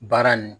Baara nin